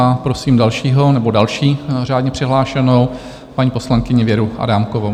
A prosím dalšího nebo další řádně přihlášenou, paní poslankyni Věru Adámkovou.